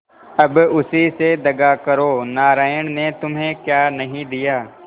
अब उसी से दगा करो नारायण ने तुम्हें क्या नहीं दिया